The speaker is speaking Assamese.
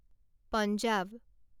পঞ্জাব